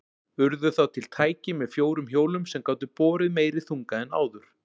Urðu þá til tæki með fjórum hjólum sem gátu borið meiri þunga en áður.